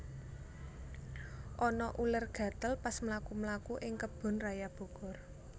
Ana uler gatel pas mlaku mlaku ing Kebun Raya Bogor